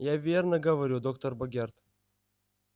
я верно говорю доктор богерт